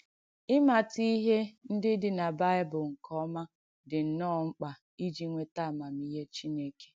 Ị̀màtà ìhé ndí dị̀ nà Báị̀bụ̀l̀ nké ọ̀mà dị̀ nnọ́ọ̀ mkpà ìjì ǹwetà àmàmihé Chìnèkè.